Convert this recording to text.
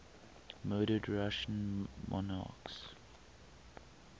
murdered russian monarchs